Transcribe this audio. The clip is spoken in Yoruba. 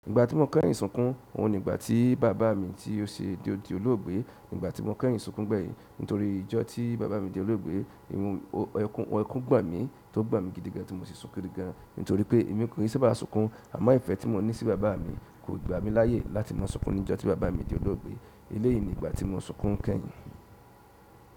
Ìgbà tí mo kẹ́yìn sunkún, òhun ni ìgbà tí bàbá mi tí ó ṣe dé di olóògbé. Ìgbà tí mo kẹ́yìn sunkún gbẹ̀yìn nítorí ijọ́ tí bàbá mi di olóògbé, ìhun ẹkún gbọn mí tó gbọn mí gidigan tí mo sì sunkún gidigan. Nítorí pé èmi kò o sábà sunkún, àmọ́ ìfẹ́ tí mo ní sí bàbá mi kò gba mí láyè láti mọ sunkún níjọ́ tí bàbá mi di olóògbé. Eléyìí ni ìgbà tí mo sunkún kẹ́yìn.